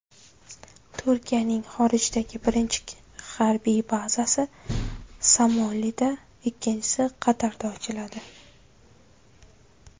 Turkiyaning xorijdagi birinchi harbiy bazasi Somalida, ikkinchisi Qatarda ochiladi.